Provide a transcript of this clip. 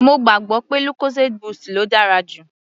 Mo gbàgbọ́ pé lucozade boost ló dára jù lọ.